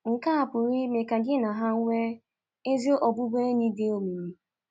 Nke a pụrụ ime ka gị na ha nwee ezi ọbụbụenyị dị omimi.